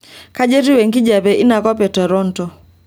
kayieu etiu enkijape inakop etoronto